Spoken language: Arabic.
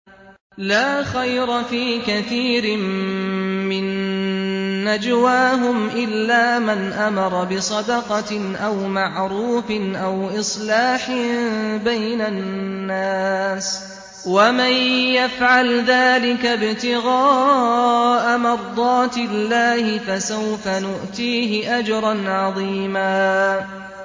۞ لَّا خَيْرَ فِي كَثِيرٍ مِّن نَّجْوَاهُمْ إِلَّا مَنْ أَمَرَ بِصَدَقَةٍ أَوْ مَعْرُوفٍ أَوْ إِصْلَاحٍ بَيْنَ النَّاسِ ۚ وَمَن يَفْعَلْ ذَٰلِكَ ابْتِغَاءَ مَرْضَاتِ اللَّهِ فَسَوْفَ نُؤْتِيهِ أَجْرًا عَظِيمًا